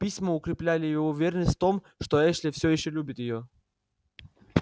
письма укрепляли её уверенность в том что эшли всё ещё любит её